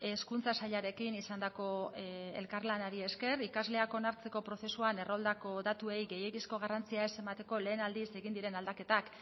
hezkuntza sailarekin izandako elkarlanari esker ikasleak onartzeko prozesuan erroldako datuei gehiegizko garrantzia ez emateko lehen aldiz egin diren aldaketak